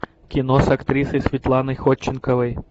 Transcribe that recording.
кино с актрисой светланой ходченковой